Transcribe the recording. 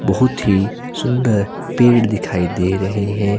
बहुत ही सुंदर पेड़ दिखाई दे रहे हैं।